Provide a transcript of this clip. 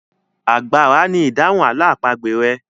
Àgbàrá ni idahun àlọ́ àpagbè rẹ.